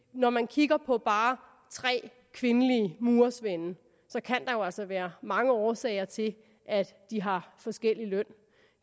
når man kigger på bare tre kvindelige murersvende kan der jo altså være mange årsager til at de har forskellig løn